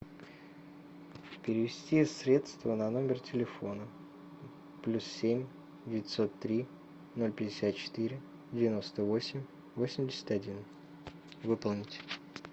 перевести средства на номер телефона плюс семь девятьсот три ноль пятьдесят четыре девяносто восемь восемьдесят один выполнить